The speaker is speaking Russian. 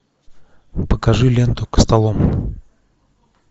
покажи ленту костолом